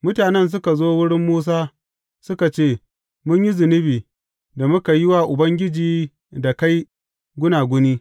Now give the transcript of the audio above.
Mutanen suka zo wurin Musa, suka ce, Mun yi zunubi, da muka yi wa Ubangiji da kai gunaguni.